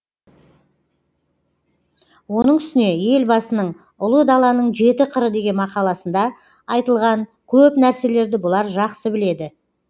оның үстіне елбасының ұлы даланың жеті қыры деген мақаласында айтылған көп нәрселерді бұлар жақсы біледі